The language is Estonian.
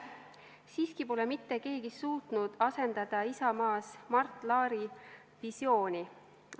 Siiski pole mitte keegi suutnud asendada Isamaas Mart Laari visiooni.